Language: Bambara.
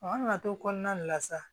An nana to kɔnɔna de la sa